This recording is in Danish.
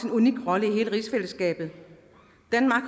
unik rolle i hele rigsfællesskabet